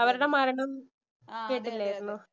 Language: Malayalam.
അവരുടെ മരണം കേട്ടില്ലാരുന്നോ?